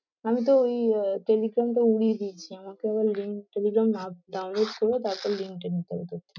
আমি তো ওই আহ টেলিগ্রামটা উড়িয়ে দিয়েছি, আমার তো আবার link টা দিলাম download করে তারপরে link টা নিতে হবে তোর।